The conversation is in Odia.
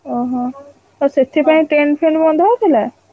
ଓହୋ, ଓ ସେଥିପାଇଁ tent ଫେଣ୍ଟ ବନ୍ଧା ହଉଥିଲା?